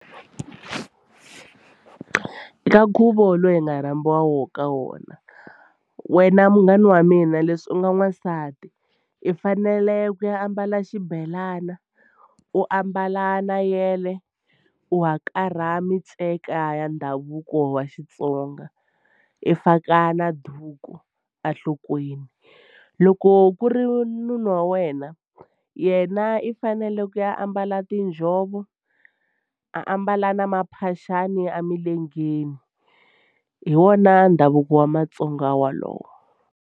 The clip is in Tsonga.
Ka nkhuvo lowu hi nga rhambiwa wo ka wona wena munghana wa mina leswi u nga n'wansati i fanele ku ya ambala xibelana u ambala na yele u hakarha miceka ya ndhavuko wa Xitsonga i faka na duku enhlokweni. Loko ku ri munhu wa wena yena i fanele ku ya ambala tinjhovo a mbala na maphaxani emilengeni hi wona ndhavuko wa matsonga wolowo.